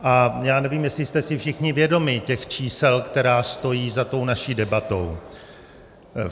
A já nevím, jestli jste si všichni vědomi těch čísel, která stojí za tou naší debatou.